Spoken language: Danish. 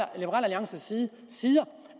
alliances side siger